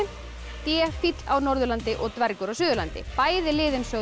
d fíll á Norðurlandi og dvergur á Suðurlandi bæði liðin sögðu